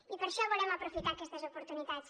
i per això volem aprofitar aquestes oportunitats